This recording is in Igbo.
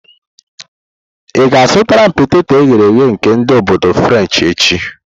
Ị ga-azụtara m peteto eghere eghe nke ndi obodo frenshi echi?